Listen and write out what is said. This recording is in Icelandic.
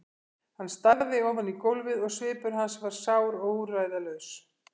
Hann starði ofan í gólfið og svipur hans var sár og úrræðalaus.